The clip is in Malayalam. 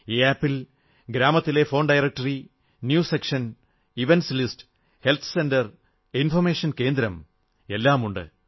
ഈ ആപ് ൽ ഗ്രാമത്തിലെ phone directory news section events list health centre information കേന്ദ്രം എല്ലാം ഉണ്ട്